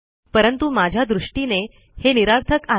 परंतु माझ्या दृष्टीने हे निरर्थक आहे